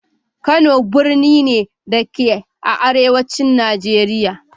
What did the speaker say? Kano birni ne, da ke a arewacin Najeriya.